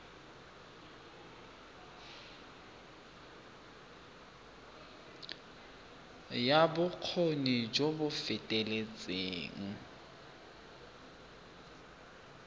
ya bokgoni jo bo feteletseng